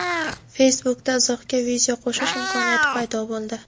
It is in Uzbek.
Facebook’da izohga video qo‘shish imkoniyati paydo bo‘ldi.